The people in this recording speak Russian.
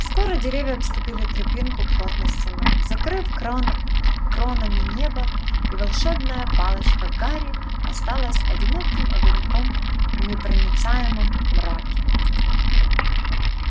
скоро деревья обступили тропинку плотной стеной закрыв кран кронами небо и волшебная палочка гарри осталась одиноким огоньком в непроницаемом мраке